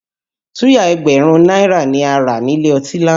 Suya ẹgbẹ̀rún náírà ni a rà nílé ọtí lánàá